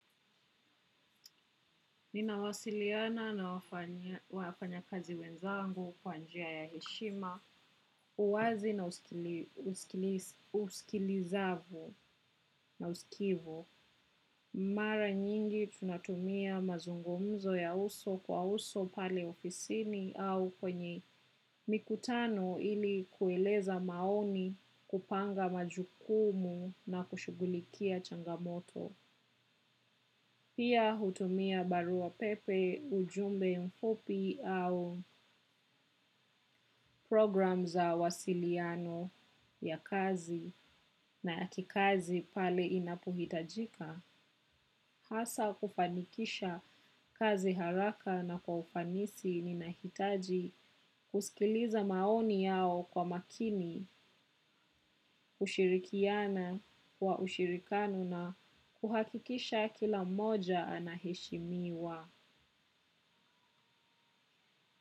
Nina wasiliana na wafanyakazi wenzangu kwa njia ya heshima, uwazi na uskilizavu na usikivu. Mara nyingi tunatumia mazungumzo ya uso kwa uso pale ofisini au kwenye mikutano ili kueleza maoni kupanga majukumu na kushughulikia changamoto. Pia hutumia barua pepe ujumbe mfupi au program za wasiliano ya kazi na akikazi pale inapohitajika. Hasa kufanikisha kazi haraka na kwa ufanisi ninahitaji kusikiliza maoni yao kwa makini, ushirikiana, wa ushirikano na kuhakikisha kila moja anahishimiwa.